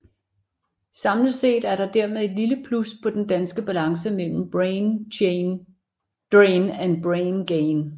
Samlet set er der dermed et lille plus på den danske balance mellem brain drain og brain gain